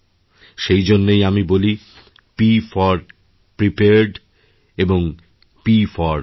সেই জন্যই আমি বলি পিএফওর প্রিপেয়ার্ড এবং প ফোর প্লে